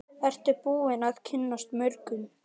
Ertu búin að kynnast mörgum?